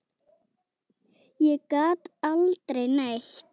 Ég gat aldrei neitt.